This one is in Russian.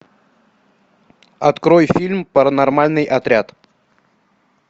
открой фильм паронормальный отряд